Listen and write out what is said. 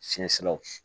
Fiɲɛ siraw